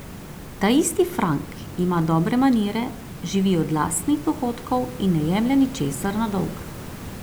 Taisti Frank ima dobre manire, živi od lastnih dohodkov in ne jemlje ničesar na dolg.